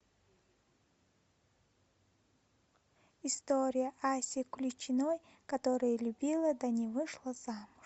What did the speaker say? история аси клячиной которая любила да не вышла замуж